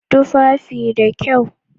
Tufafi da kyau